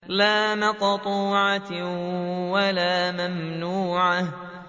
لَّا مَقْطُوعَةٍ وَلَا مَمْنُوعَةٍ